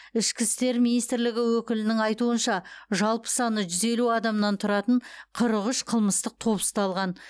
ішкі істер министрлігі өкілінің айтуынша жалпы саны жүз елу адамнан тұратын қырық үш қылмыстық топ ұсталған